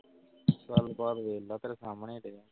ਗੱਲ ਬਾਤ ਵੇਖ ਲਾ ਤੇਰੇ ਸਾਹਮਣੇ ਤੇਰੇ।